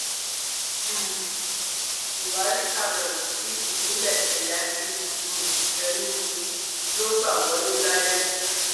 um buhari ṣàbẹwò sí ìpínlẹ ẹyáṣí um enugu ló gbá wọlé lálẹ